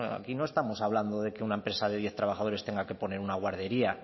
aquí no estamos hablando de que una empresa de diez trabajadores tenga que poner una guardería